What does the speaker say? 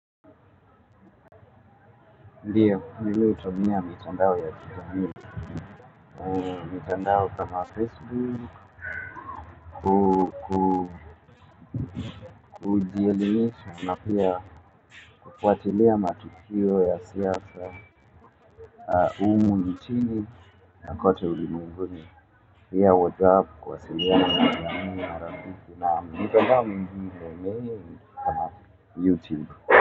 ANdio mimi hutumia mitandao ya kijamii mitandao kama facebook ku ku kujielimisha na pia kufuatilia matukio ya siasa humu nchini na kote ulimwenguni. Pia WhatsApp kuwasiliana na jamii na rafiki a mitandao mingine mimi niko na YouTube.